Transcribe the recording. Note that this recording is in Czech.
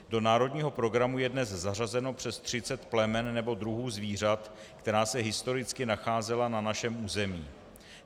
Do národního programu je dnes zařazeno přes 30 plemen nebo druhů zvířat, která se historicky nacházela na našem území.